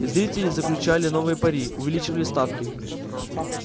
зрители заключали новые пари увеличивали ставки